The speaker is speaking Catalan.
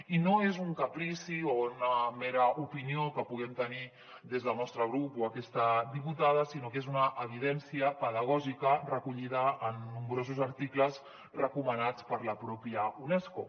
i no és un caprici o una mera opinió que puguem tenir des del nostre grup o aquesta diputada sinó que és una evidència pedagògica recollida en nombrosos articles recomanats per la pròpia unesco